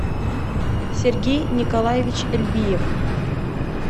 сергей николаевич эльбиев